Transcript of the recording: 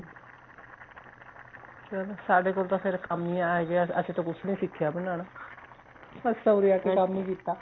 ਚਲੋਂ ਸਾਡੇ ਕੋਲ ਤਾਂ ਫ਼ੇਰ ਕੰਮ ਹੀ ਆ ਗਿਆ ਅਸੀਂ ਤਾਂ ਕੁੱਛ ਨਹੀਂ ਸਿਖਿਆਂ ਬਣਾਣਾ ਅਸੀਂ ਤਾਂ ਉਰੇ ਆਕੇ ਕੰਮ ਹੀ ਕੀਤਾ